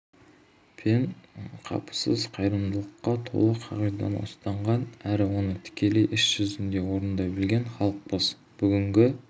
пен қапысыз қайырымдылыққа толы қағиданы ұстанған әрі оны тікелей іс жүзінде орындай білген халықпыз бүгінгі